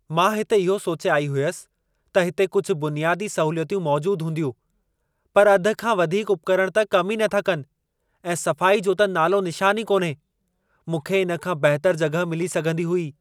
"मां हिते इहो सोचे आई हुअसि, त हिते कुझि बुनियादी सहूलियतूं मौजूद हूंदियूं, पर अधि खां वधीक उपकरण त कम ई नथा कनि ऐं सफ़ाई जो त नालो निशान ई कोन्हे। मूंखे इन खां बहितर जॻहि मिली सघंदी हुई।"